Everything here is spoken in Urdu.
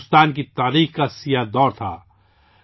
یہ بھارت کی تاریخ کا سیاہ دور تھا